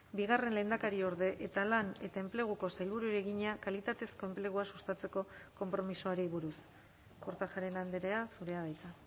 bigarren lehendakariorde eta lan eta enpleguko sailburuari egina kalitatezko enplegua sustatzeko konpromisoari buruz kortajarena andrea zurea da hitza